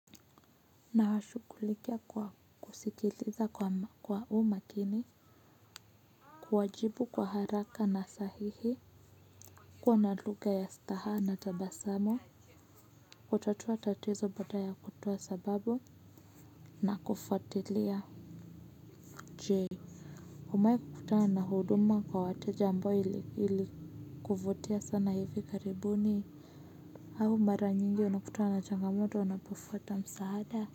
Nashughulikia kwa kusikiliza kwa umakini kuwajibu kwa haraka na sahihi kuwa na lugha ya staha na tabasamu kutatua tatizo baada ya kutoa sababu na kufuatilia. Je umewahi kukutana na huduma kwa wateja ambayo ilikuvutia sana hivi karibuni au mara nyingi unakutana na changamoto unapofuata msaada.